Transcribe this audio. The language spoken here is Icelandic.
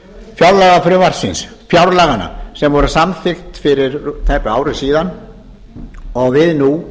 fjárlagafrumvarpsins fjárlaganna sem voru samþykkt fyrir tæpu ári síðan og við nú